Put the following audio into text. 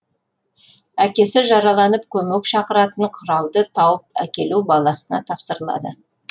әкесі жараланып көмек шақыратын құралды тауып әкелу баласына тапсырылады